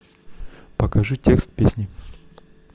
покажи текст песни